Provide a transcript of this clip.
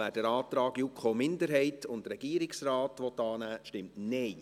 wer den Antrag der JuKo-Minderheit und des Regierungsrates annehmen will, stimmt Nein.